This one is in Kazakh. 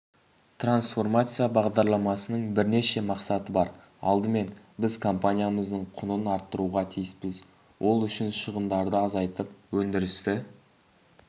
трансформация бағдарламасының бірнеше мақсаты бар алдымен біз компаниямыздың құнын арттыруға тиіспіз ол үшін шығындарды азайтып өндірісті